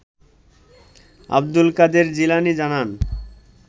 আব্দুল কাদের জিলানী জানান